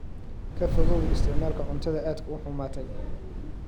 Ka fogow isticmaalka cuntada aadka u xumaatay.